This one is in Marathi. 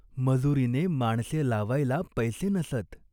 मजूरीने माणसे लावायला पैसे नसत.